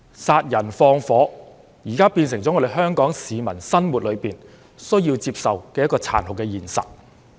殺人放火現在變成了香港市民在生活裏需要接受的殘酷現實。